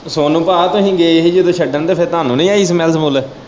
ਤੇ ਸੋਨੂੰ ਪਾ ਤੁਸੀਂ ਗਏ ਹੀ ਉਦੋਂ ਛੱਡਣ ਤੇ ਫਿਰ ਤੁਹਾਨੂੰ ਨਹੀਂ ਆਈ ਸਮੇਲ ਸਮੁਲ।